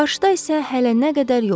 Qarşıda isə hələ nə qədər yol var.